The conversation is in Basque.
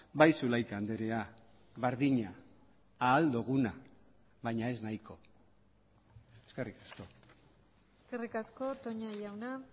bai zulaika andrea berdina ahal doguna baina ez nahiko eskerrik asko eskerrik asko toña jauna